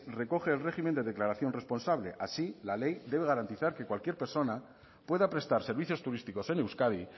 recoge el régimen de declaración responsable así la ley debe garantizar que cualquier persona pueda prestar servicios turísticos en euskadi